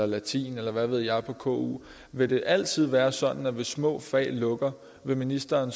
latin eller hvad ved jeg på ku vil det altid være sådan at hvis små fag lukker vil ministeren